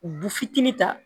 Bu fitinin ta